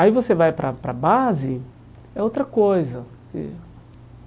Aí você vai para para a base, é outra coisa.